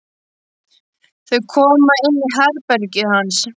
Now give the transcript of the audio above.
Þau koma inn í herbergið hans.